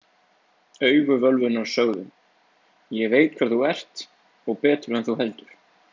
Augu völvunnar sögðu: Ég veit hver þú ert og betur en þú heldur.